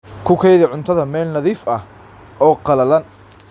Ku kaydi cuntada meel nadiif ah oo qallalan.